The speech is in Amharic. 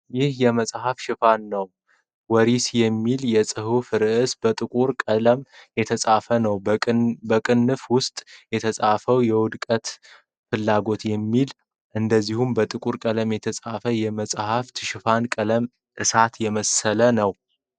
ይህ የመጽሐፍ ሽፋን ነው ። ዘሪሳ የሚለው የመጽሐፉ ርዕስ በጥቁር ቀለም የተጻፈ ነው ። በቅንፍ ውስጥ የተጻፈው የውድቀት ፈለጎች የሚለውም እንደዚሁ በጥቁር ቀለም ተጽፏል። የመጽሐፉ ሽፋን ቀለም እሳት የመሠለ ነው።